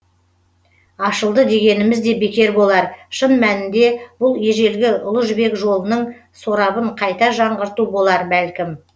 ашылды дегеніміз де бекер болар шын мәнінде бұл ежелгі ұлы жібек жолының сорабын қайта жаңғырту болар бәлкім